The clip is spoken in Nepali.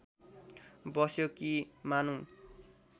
बस्यो कि मानौँ